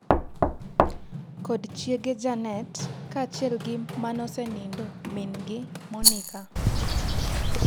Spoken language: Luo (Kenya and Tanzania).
kod chiege janet kaachiel gi manosenindo min'gi Monika